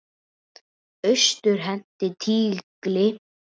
Austur henti tígli.